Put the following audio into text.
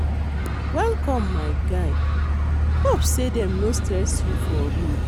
Welcome my guy, hope sey dem no stress you for road.